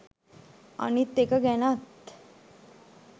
අනිත් එක ගැනත්